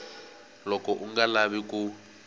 loko u nga lavi ku